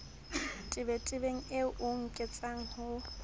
tebetebeng eo o nkentseng ho